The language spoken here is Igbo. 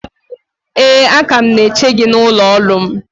ee, a ka m na-eche gị n’ụlọ ọrụ m